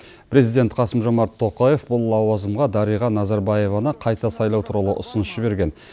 президент қасым жомарт тоқаев бұл лауазымға дариға назарбаеваны қайта сайлау туралы ұсыныс жіберген